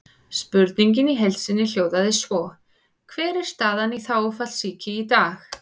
Spurningin í heild sinni hljóðaði svona: Hver er staðan á þágufallssýki í dag?